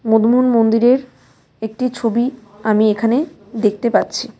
মন্দিরের একটি ছবি আমি এখানে দেখতে পাচ্ছি.